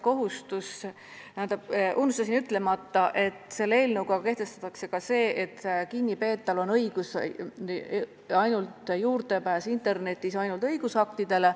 Unustasin ütlemata, et selle eelnõuga kehtestatakse ka see, et kinnipeetaval on õigus pääseda internetis ligi ainult õigusaktidele.